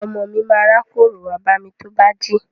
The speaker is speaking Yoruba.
Ọmọ mi ma rákórò wá bámi tó bá jí.